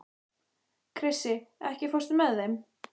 Krissi, ekki fórstu með þeim?